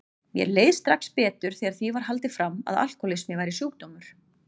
Mér leið strax betur þegar því var haldið fram að alkohólismi væri sjúkdómur.